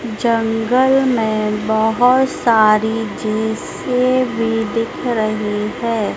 जंगल में बहोत सारी झिसे भी दिख रहे है।